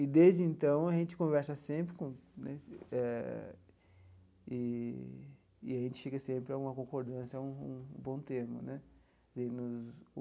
E, desde então, a gente conversa sempre com né eh eee e a gente chega sempre a uma concordância, a um bom termo né.